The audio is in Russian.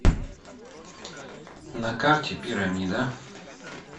на карте пирамида